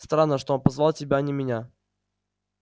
странно что он позвал тебя а не меня